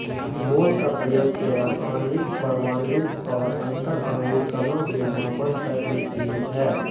मोल का प्रयोग केवल आण्विक् परमाण्विक और अन्तरआण्विक कणों के मापन तक ही सीमित है